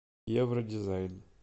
евродизайн